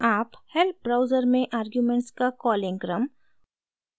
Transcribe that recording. आप help browser में arguments का कॉलिंग क्रम